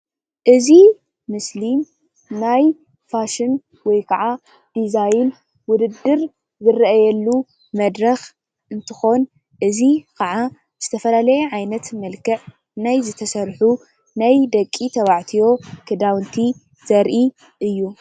እዚ ምስሊ ናይ ፋሽን ወይ ክዓ ዲዛይን ዉድድር ዝርኣየሉ መድረኽ እንትኾን እዚ ኽዓ ዝተፈላለየ ዓይነት መልክዕ ናይ ዝተሰርሑ ናይ ደቂ ተባዕትዮ ክዳዉንቲ ዘርኢ እዩ።